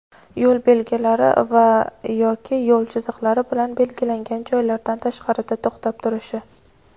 yo‘l belgilari va (yoki) yo‘l chiziqlari bilan belgilangan joylardan tashqarida to‘xtab turishi.